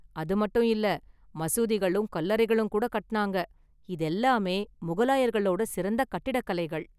அது மட்டும் இல்ல, மசூதிகளும் கல்லறைகளும் கூட கட்டுனாங்க, இதெல்லாமே முகலாயர்களோட சிறந்த கட்டிடக்கலைகள்.